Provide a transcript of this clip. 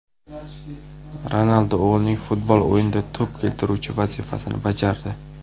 Ronaldu o‘g‘lining futbol o‘yinida to‘p keltiruvchi vazifasini bajardi .